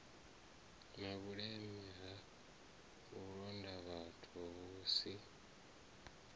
na vhuleme ha vhulondavhathu vhusi